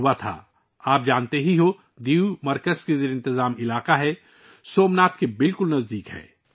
آپ یقینی طور پر جانتے ہیں کہ 'دیو' ایک مرکز کے زیر انتظام علاقہ ہے، جو سومناتھ کے بہت قریب ہے